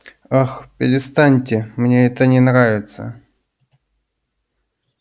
ах перестаньте мне это не нравится